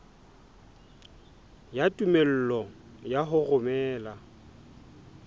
ya tumello ya ho romela